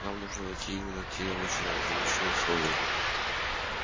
нам нужно найти именно те очень ограниченные условия